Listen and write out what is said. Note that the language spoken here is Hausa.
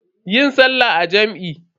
Yi sallah a jam'i.